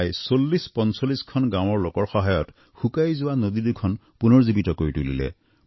প্ৰায় ৪০৪৫খন গাঁৱৰ লোকৰ সহায়ত শুকাই যোৱা নদীদুখন পুনৰুজ্জীৱিত কৰি তুলিলে